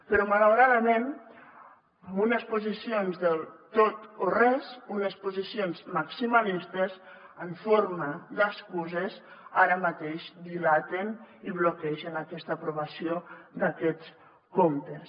però malauradament amb unes posicions del tot o res unes posicions maximalistes en forma d’excuses que ara mateix dilaten i bloquegen aquesta aprovació d’aquests comptes